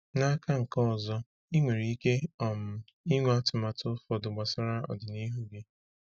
N’aka nke ọzọ, ị nwere ike um ịnwe atụmanya ụfọdụ gbasara ọdịnihu gị.